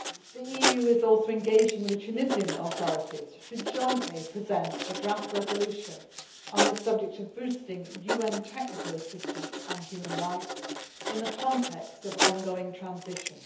The EU also is engaging with the Tunisian authorities to jointly present a draft resolution on the subject of boosting UN technical assistance on human rights in the context of ongoing transition.